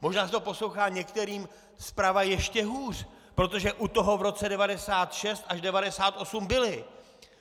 Možná se to poslouchá některým zprava ještě hůř, protože u toho v roce 1996 až 1998 byli.